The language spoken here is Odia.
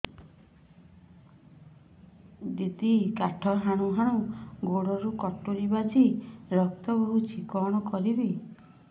ଦିଦି କାଠ ହାଣୁ ହାଣୁ ଗୋଡରେ କଟୁରୀ ବାଜି ରକ୍ତ ବୋହୁଛି କଣ କରିବି